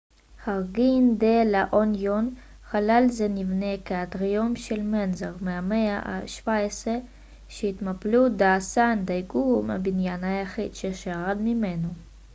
חרגין דה לה אוניון חלל זה נבנה כאטריום של מנזר מהמאה ה-17 שהטמפלו דה סן דייגו הוא הבניין היחיד ששרד ממנו